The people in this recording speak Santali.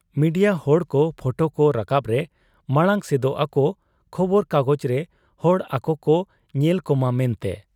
ᱢᱤᱰᱤᱭᱟ ᱦᱚᱲᱠᱚ ᱯᱷᱚᱴᱚᱠᱚ ᱨᱟᱠᱟᱵᱽ ᱨᱮ ᱢᱟᱬᱟᱝ ᱥᱮᱫᱚᱜ ᱟᱠᱚ ᱠᱷᱚᱵᱚᱨ ᱠᱟᱜᱚᱡᱽᱨᱮ ᱦᱚᱲ ᱟᱠᱚᱠᱚ ᱧᱮᱞᱠᱚᱢᱟ ᱢᱮᱱᱛᱮ ᱾